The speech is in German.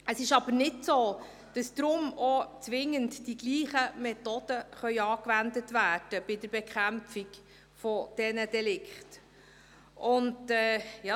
Es ist aber nicht so, dass deshalb auch zwingend bei der Bekämpfung dieser Delikte dieselben Methoden angewandt werden können.